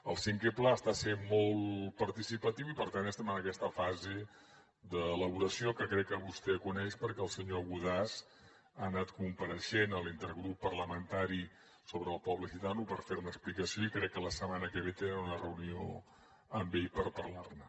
el cinquè pla està sent molt participatiu i per tant ja estem en aquesta fase d’elaboració que crec que vostè coneix perquè el senyor godàs ha anat compareixent a l’intergrup parlamentari sobre el poble gitano per fer ne explicació i crec que la setmana que ve tenen una reunió amb ell per parlar ne